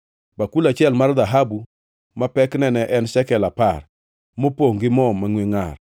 bakul achiel mar dhahabu ma pekne ne en shekel apar, mopongʼ gi mo mangʼwe ngʼar;